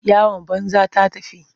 Yawan banza ta tafi.